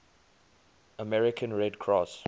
american red cross